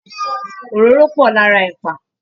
Òróró pọ̀ lára ẹ̀pà